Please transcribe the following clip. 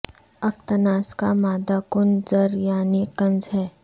اکتناز کا مادہ ک ن ز یعنی کنز ہے